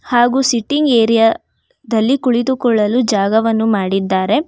ಹಾಗೂ sitting area ದಲ್ಲಿ ಕುಳಿತುಕೊಳ್ಳಲು ಜಾಗವನ್ನು ಮಾಡಿದ್ದಾರೆ.